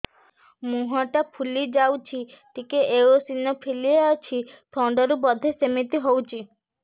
ମୁହଁ ଟା ଫୁଲି ଯାଉଛି ଟିକେ ଏଓସିନୋଫିଲିଆ ଅଛି ଥଣ୍ଡା ରୁ ବଧେ ସିମିତି ହଉଚି